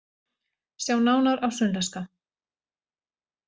Sjá nánar á Sunnlenska